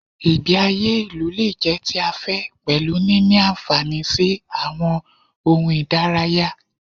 Ìgbé ayé ìlú lè jẹ́ ti afẹ́ pẹ̀lú níní àǹfààní sí àwọn ohun ìdárayá.